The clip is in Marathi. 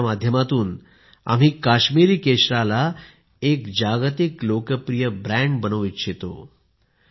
याच्या माध्यमातून आम्ही काश्मिरी केशराला एक जागतिक लोकप्रिय ब्रँड बनवू इच्छितो